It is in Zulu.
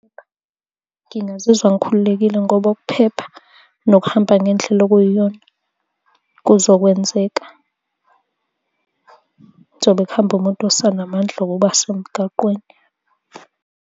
Ngingazizwa ngikhululekile ngoba ukuphepha nokuhamba ngendlela okuyiyona kuzokwenzeka kuzobe kuhamba umuntu osanamandla okuba semgaqweni.